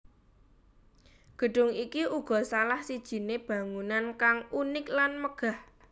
Gedung iki uga salah sijine bangunan kang unik lan megah